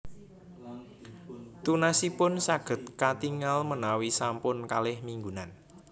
Tunasipun saged katingal menawi sampun kalih minggunan